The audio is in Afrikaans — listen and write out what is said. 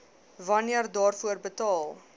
wanneer daarvoor betaal